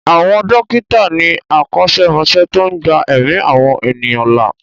Àwọn dókítà ni akọ́ṣẹ́mọṣẹ́ tó ń gba ẹ̀mí àwọn ènìyàn là.